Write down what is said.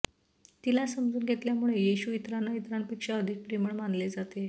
तिला समजून घेतल्यामुळे येशू इतरांना इतरांपेक्षा अधिक प्रेमळ मानले जाते